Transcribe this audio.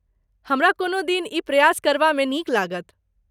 हमरा कोनो दिन ई प्रयास करबा मे नीक लागत।